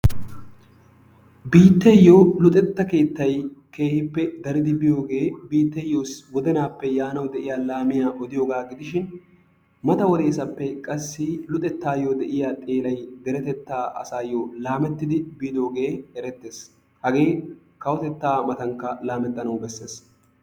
Biitteeyo luxetta keettay daridi biyogee biitteyyo wodenaappe daridi yiya laamiya odiyogaa gidishin mata wodeesappe qassi luxettaayyo de'iya xeelay deretettaa asaayyo laamettidi biidoogee erettees. Hagee kawotettaa matankka laamettanawu bessees.